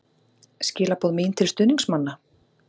Skilaboð mín til stuðningsmanna?